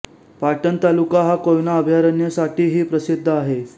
पाटण तालुका हा कोयना अभयारण्य साठी हि प्रसिद्ध आहे